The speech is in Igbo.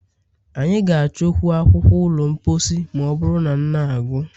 Anyị ga-achọkwu akwukwor ụlọ mposi ma ọ bụrụ na na gwụ.